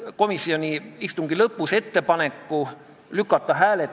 Aga kuidas siis komisjon jõudis sellise ettepanekuni, et see eelnõu tagasi lükata?